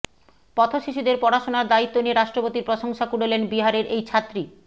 পথশিশুদের পড়াশোনার দায়িত্ব নিয়ে রাষ্ট্রপতির প্রশংসা কুড়োলেন বিহারের এই ছাত্রী